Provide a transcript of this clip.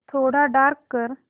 थोडा डार्क कर